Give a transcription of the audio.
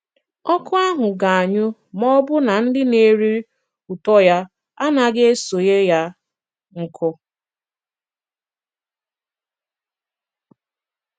Ọ̀kụ́ ahụ̀ ga-anyụ ma ọ̀bụ̀ na ndị na-erí ùtọ́ ya a naghị esònyé yà nkụ́